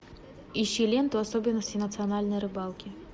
ищи ленту особенности национальной рыбалки